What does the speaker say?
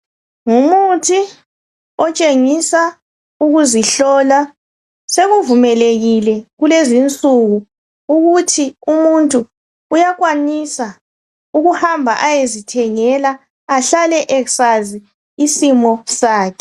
Ngumuthi otshengisa ukuzihlola sekuvumelekile kulezinsuku ukuthi umuntu uyakwanisa ukuhamba ayezithengela ahlale esazi isimo sakhe.